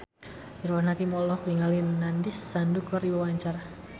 Irfan Hakim olohok ningali Nandish Sandhu keur diwawancara